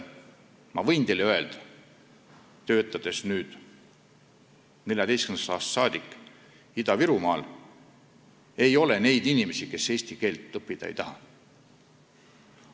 Ma võin teile öelda, olles 2014. aastast saadik töötanud Ida-Virumaal: ei ole neid inimesi, kes eesti keelt õppida ei taha.